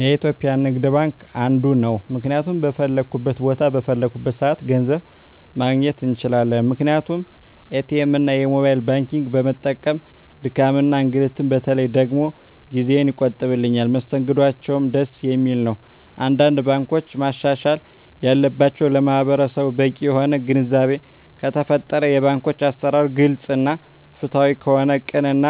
የኢትዩጲያ ንግድባንክ አንዱ ነዉ ምክንያቱም በፈለኩት ቦታ በፈለኩበት ሰአት ገንዘብ ማግኘት እንችላለን ምክንያቱም ኢትኤምእና የሞባይል ባንኪግን በመጠቀም ድካምንም እንግልትም በተለይ ደግሞ ጊዜየን ይቆጥብልኛል መስተንግዶአቸዉም ደስ የሚል ነዉ አንዳንድ ባንኮች ማሻሻል ያለባቸዉ ለማህበረሰቡ በቂ የሆነ ግንዛቤ ከተፈጠረ የባንኮች አሰራር ግልፅ እና ፍትሀዊ ከሆነ ቅን እና